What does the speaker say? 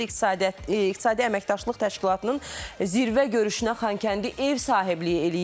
İqtisadi əməkdaşlıq təşkilatının zirvə görüşünə Xankəndi ev sahibliyi eləyir.